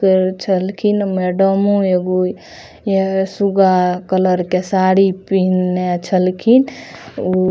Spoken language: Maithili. केर चलखिन मैडमो एगो यह सुगा कलर के साड़ी पिहना छलखिन उ --